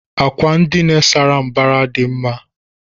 Àkwà ndina sárá mbara dị mma.